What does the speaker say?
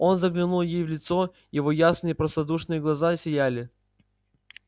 он заглянул ей в лицо его ясные простодушные глаза сияли